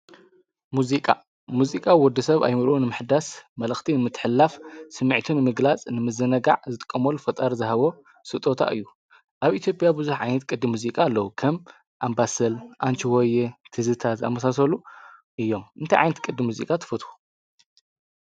ሙዚቃ ድምጺን ምቕዳሕን ብትእዛዝ ዝተሰናኸለ ስነ-ጥበብ እዩ። ስሜት ሰብ ክደልይን ክሓጎስን ወይ ክጸልይን ይኽእል። ሙዚቃ ኣብ ባህሊ ሕብረተሰብ ቦታ ዓቢ ኣላ።